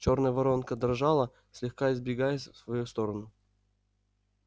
чёрная воронка дрожала слегка изгибаясь в свою сторону